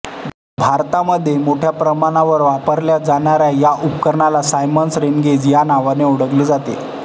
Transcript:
भारतामध्ये मोठय़ा प्रमाणावर वापरल्या जाणाऱ्या या उपकरणाला सायमन्स रेनगेज या नावाने ओळखले जाते